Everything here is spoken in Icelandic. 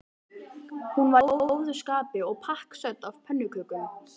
Hún var í góðu skapi og pakksödd af pönnukökum.